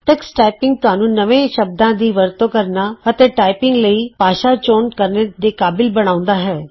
Tux typing ਤੁਹਾਨੂੰ ਨਵੇਂ ਸ਼ਬਦਾਂ ਦੀ ਵਰਤੋਂ ਕਰਨਾ ਅਤੇ ਟਾਈਪਿੰਗ ਲਈ ਭਾਸ਼ਾ ਚੁਣਨ ਦੇ ਕਾਬਲ ਬਣਾਉਂਦਾ ਹੈ